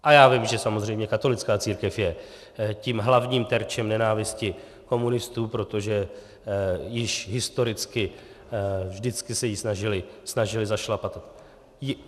A já vím, že samozřejmě katolická církev je tím hlavním terčem nenávisti komunistů, protože již historicky vždycky se ji snažili zašlapat.